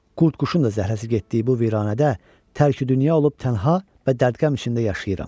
Qurdquşun da zəhləsi getdiyi bu viranədə tərki-dünya olub tənha və dərdqəm içində yaşayıram.